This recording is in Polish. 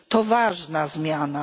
To ważna zmiana.